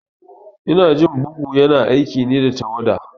Inajin bugu ya na aiki ne da tawada